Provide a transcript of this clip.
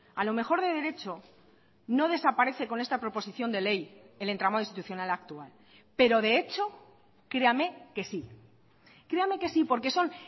a lo mejor de derecho no desaparece con esta proposición de ley el entramado institucional actual pero de hecho créame que sí créame que sí porque son